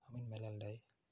Amin melelda ii?